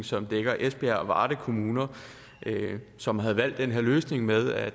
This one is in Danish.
som dækker esbjerg og varde kommuner som havde valgt den her løsning med at